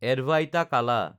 Advaita Kala